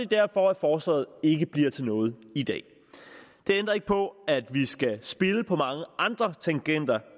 derfor at forslaget ikke bliver til noget i dag det ændrer ikke på at vi skal spille på mange andre tangenter